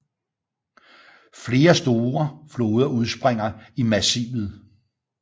Flere store floder udspringer i massivet